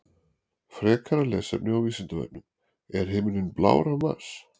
Frekara lesefni á Vísindavefnum: Er himinninn blár á Mars?